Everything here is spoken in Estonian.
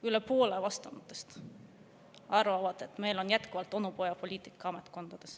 Üle poole vastanutest arvab, et meil on ametkondades jätkuvalt onupojapoliitika.